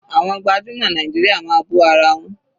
Àwọn gbajúmọ̀ Nàìjíríà máa bú ara wọn.